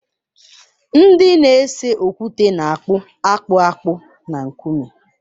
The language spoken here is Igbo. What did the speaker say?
Ndị na-ese okwute na-akpụ akpụ akpụ na nkume.